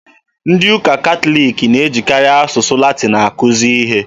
Ndị ụka Catholic na-ejikarị asụsụ Latin akuzi ihe.